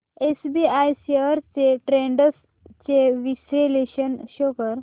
SBI shares trends चे विश्लेषण show कर